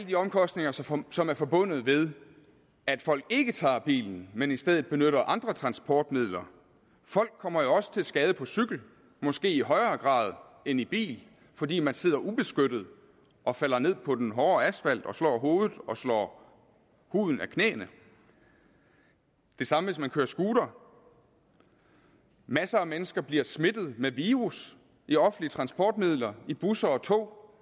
de omkostninger som som er forbundet med at folk ikke tager bilen men i stedet benytter andre transportmidler folk kommer jo også til skade på cykel måske i højere grad end i bil fordi man sidder ubeskyttet og falder ned på den hårde asfalt og slår hovedet og slår huden af knæene det samme hvis man kører scooter masser af mennesker bliver smittet med virus i offentlige transportmidler i busser og tog